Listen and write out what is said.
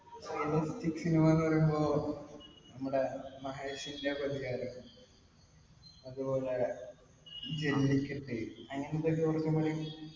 realistic cinema ന്ന് പറയുമ്പോ നമ്മടെ മഹേഷിന്റെ പ്രതികാരം അതുപോലെ ജെല്ലിക്കെട്ട് അങ്ങിനത്തെ